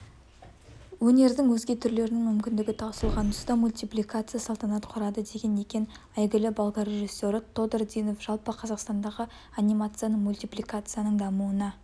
өнердің өзге түрлерінің мүмкіндігі таусылған тұста мультипликация салтанат құрады деген екен әйгілі болгар режиссері тодор динов жалпы қазақстандағы анимацияның мультипликацияның дамуына